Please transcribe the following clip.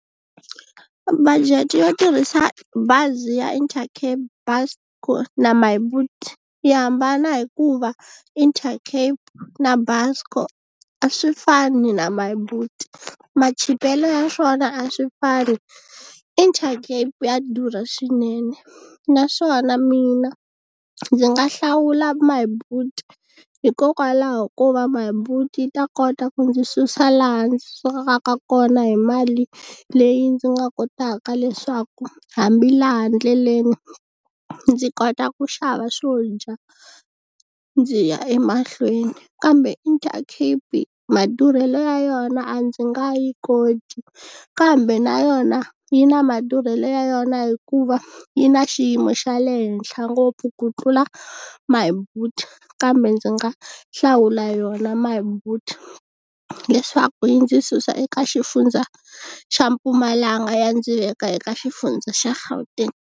Budget yo tirhisa bazi ya Intercape Buscor na My Boet yi hambana hikuva Intercape na Busco a swi fani na My Boet machipelo ya swona a swi fani Intercape ya durha swinene naswona mina ndzi nga hlawula My Boet hikokwalaho ko va My Boet yi ta kota ku ndzi susa laha ndzi sukaka ka kona hi mali leyi ndzi nga kotaka leswaku hambi laha ndleleni ndzi kota ku xava swo dya ndzi ya emahlweni kambe Intercape madurhelo ya yona a ndzi nga yi koti kambe na yona yi na madurhelo ya yona hikuva yi na xiyimo xa le henhla ngopfu ku tlula My Boet kambe ndzi nga hlawula yona My Boet leswaku yi ndzi susa eka xifundza xa Mpumalanga yi ya ndzi veka eka xifundza xa Gauteng.